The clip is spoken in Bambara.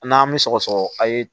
N'an mi sɔgɔsɔgɔ a' ye